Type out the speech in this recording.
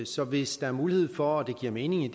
så hvis der er mulighed for og det giver mening i